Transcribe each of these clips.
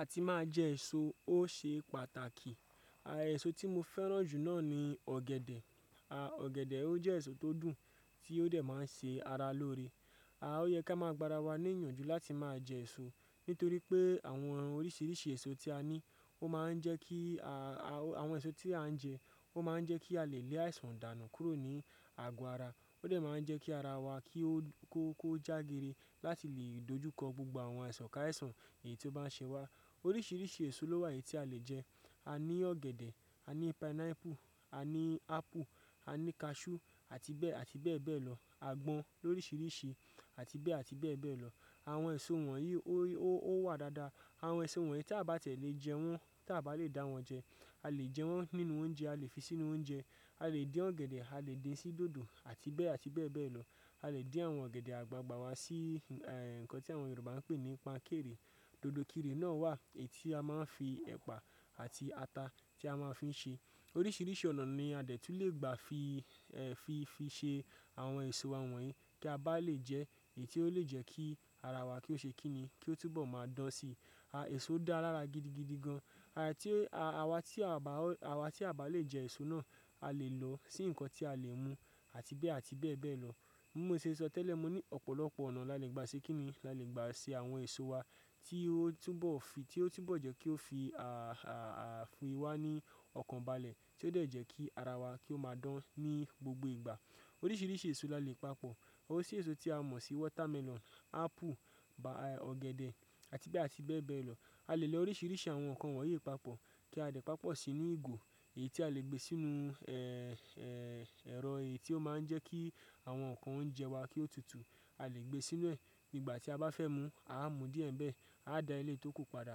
A ti máa jẹ èso ó ṣe pàtàkì. Àà, èso tí mo fẹ́ràn jù náà ni ọ̀gẹ̀dẹ̀. Àà, ọ̀gẹ̀dẹ̀ ó jẹ́ èso tó dùn tí ó dẹ̀ máa ń ṣe ara lóore. Àà, ó yẹ ká máa gbara wa ní ìyànjú láti máa jẹ èso nítorí pé àwọn oríṣiríṣi èso tí a ní, ó máa ń jẹ́ kí a, àwọn èso tí à ń jẹ, ó máa ń jẹ́ kí a lè le àìsàn dànù kúrò ní àgọ́ ara. Ó dẹ̀ máa ń jẹ́ kí ara wa kí ó, kó, kó jágere láti lè dojúkọ gbogbo àwọn àìsàn káàìsàn èyí tó bá ń ṣe wá. Oríṣiríṣi èso ló wà èyí tí a lè jẹ. A ní ọ̀gẹ̀dẹ̀, a ní pineapple, a ní apple, a ní cashew àti bẹ́ẹ̀, àti bẹ́ẹ̀ bẹ́ẹ̀ lọ. A gbọn ló ríríṣi àti bẹ́ẹ̀, àti bẹ́ẹ̀ bẹ́ẹ̀ lọ. Àwọn èso wọ̀nyí ó wà dáadáa. Àwọn èso wọ̀nyí tí a bá tẹ̀ lé jẹ wọ́n, tí a bá lè dá wọ́n jẹ, a lè jẹ wọ́n nínú oúnjẹ, a lè fi sínú oúnjẹ. A lè dín ọ̀gẹ̀dẹ̀, a lè dín sí dòdò àti bẹ́ẹ̀, àti bẹ́ẹ̀ bẹ́ẹ̀ lọ. A lè dín àwọn ọ̀gẹ̀dẹ̀ àgbagbà wa sí eh, nǹkan tí àwọn Yorùbá ń pè ní pan kere. Dodo ikire náà wà èyí tí a máa ń fi ẹ̀pà àti ata tí a máa ń fi ń ṣe. Oríṣiríṣi ọ̀nà ni a dẹ̀ tún le gbà fi, fi, fi ṣe àwọn èso àwọn wọ̀nyí tí a bá lè jẹ, èyí tí ó lè jẹ́ kí ara wa kó ṣe kínni, kí ó túbọ̀ máa dán si. Àà, èso dá lára gidigidi gan. Àà, tí, àwa tí a bá, àwa tí a bá lè jẹ èso náà, a lè lòó sí nǹkan tí a lè mu àti bẹ́ẹ̀, àti bẹ́ẹ̀ bẹ́ẹ̀ lọ. Mo mọ̀ séṣó tẹ́lẹ̀, mo ní ọ̀pọ̀lọpọ̀ ọ̀nà la lè gba ṣe kínni, la lè gba ṣe àwọn èso wa tí ó túbọ̀ fi, tí ó túbọ̀ jẹ́ kó fi, fi wá ní ọkàn balẹ̀ tí ó dẹ̀ jẹ́ kí ara wa kó máa dán ní gbogbo ìgbà. Oríṣiríṣi èso la lè papọ̀. Orisirisì èso tí a mọ̀ sí watermelon, apple, ọ̀gẹ̀dẹ̀ àti bẹ́ẹ̀, àti bẹ́ẹ̀ bẹ́ẹ̀ lọ. A lè lo oríṣiríṣi àwọn nǹkan wọ̀nyí papọ̀ kí a lè papọ̀ sínú ìgò èyí tí a lè gbé sínú eh, eh, ẹ̀rọ èyí tí ó máa ń jẹ́ kí àwọn nǹkan ó ń jẹ wa kí ó tutù. A lè gbé sínú ẹ̀ nígbà tí a bá fẹ́ mu, a á mú díẹ̀ bẹ́ẹ̀, a dáa lé tó ko padà.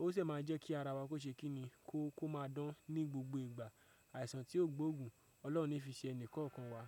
Ó sì máa ń jẹ́ kí ara wa kó ṣe kínni kó, kó máa dán ní gbogbo ìgbà àìsàn tí ó gbóògùn Ọlọ́run ní fi ṣe ẹnì kọ̀ọ̀kan wa.